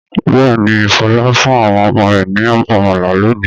Bẹ́ẹ̀ ni, Fọlá fún àwọn ọmọ rẹ̀ ní àmàlà lónìí.